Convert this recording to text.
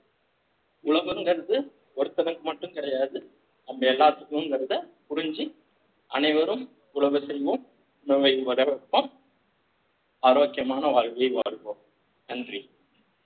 உழவுங்கறது ஒருத்தனுக்கு மட்டும் கிடையாது நம்ம எல்லாத்துக்கும்ங்கிறதை புரிஞ்சு அனைவரும் உழவு செய்வோம் உணவை வளர வைப்போம் ஆரோக்கியமான வாழ்கையை வாழ்வோம் நன்றி